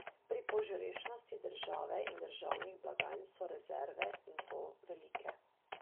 Pri požrešnosti države in državnih blagajn so rezerve, in to velike.